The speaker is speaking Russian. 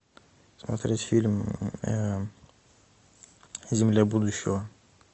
смотреть фильм земля будущего